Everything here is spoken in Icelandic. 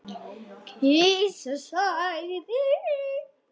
Kisa sagði